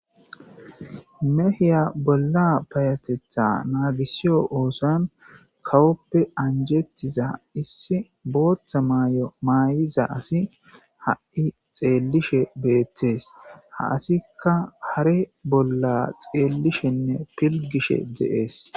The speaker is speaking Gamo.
Meha bolla payatetha naagisiyo oothon kawoppe anjetiza issi booththa mayo mayiza asi xeellishe beetees. Ha asika hare bolla xellishene pilgishe de'ees.